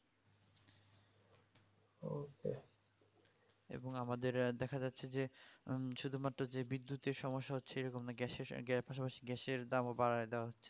এবং আমাদের দেখা যাচ্ছে যে উম শুধুমাত্র যে বিদ্যুতের সমস্যা হচ্ছে এরকম না gas এর দাম বাড়ায় দেওয়া হচ্ছে